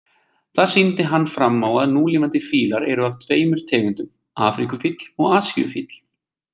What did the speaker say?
Þar sýndi hann fram á að núlifandi fílar eru af tveimur tegundum, afríkufíll og asíufíll.